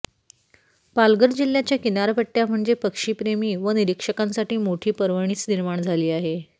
पालघर जिल्ह्याच्या किनारपट्ट्या म्हणजे पक्षी प्रेमी व निरीक्षकांसाठी मोठी पर्वणीच निर्माण झाली आहे